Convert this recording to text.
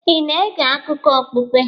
Ị na-ege akụkọ okpukpe?